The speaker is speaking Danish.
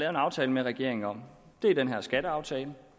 en aftale med regeringen om er den her skatteaftale